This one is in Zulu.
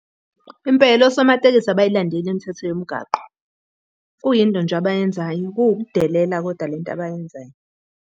Impela osomatekisi abayilandeli imithetho yemgaqo. Kuyinto nje abayenzayo, kuwukudelela koda lento abayenzayo.